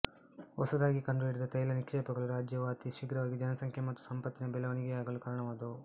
ಹೊಸದಾಗಿ ಕಂಡು ಹಿಡಿದ ತೈಲ ನಿಕ್ಷೇಪಗಳು ರಾಜ್ಯವು ಅತಿ ಶೀಘ್ರವಾಗಿ ಜನಸಂಖ್ಯೆ ಮತ್ತು ಸಂಪತ್ತಿನಲ್ಲಿ ಬೆಳವಣಿಗೆಯಾಗಲು ಕಾರಣವಾದವು